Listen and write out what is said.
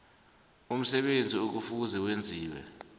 umsebenzi ekufuze wenziwe